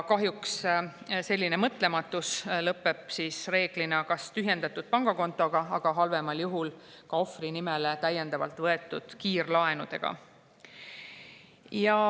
Kahjuks selline mõtlematus lõpeb reeglina kas tühjendatud pangakontoga või halvemal juhul ka ohvri nimele võetud kiirlaenudega.